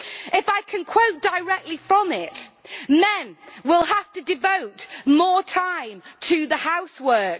If I can quote directly from it men will have to devote more time to the housework'.